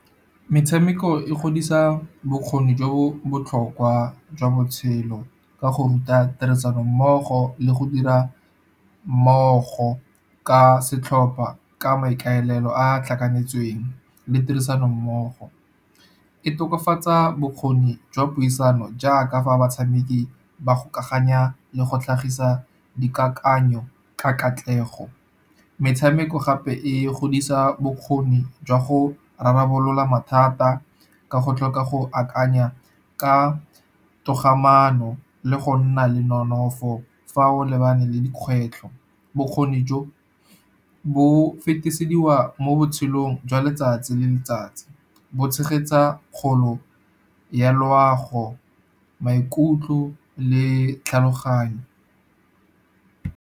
Metshameko e godisa bokgoni jo botlhokwa jwa botshelo, ka go ruta tirisanommogo le go dira mmogo ka setlhopa, ka maikaelelo a a tlhakanetsweng le tirisanommogo. E tokafatsa bokgoni jwa puisano jaaka fa batshameki ba go kgaoganya le go tlhagisa dikakanyo ka katlego. Metshameko gape e godisa bokgoni jwa go rarabolola mathata ka go tlhoka go akanya ka togamaano, le go nna le nonofo fa o lebane le dikgwetlho. Bokgoni jo bo fetisediwa mo botshelong jwa letsatsi le letsatsi, bo tshegetsa kgolo ya loago maikutlo le tlhaloganyo.